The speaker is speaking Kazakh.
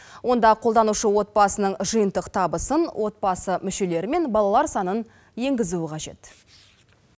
онда қолданушы отбасының жиынтық табысын отбасы мүшелері мен балалар санын енгізуі қажет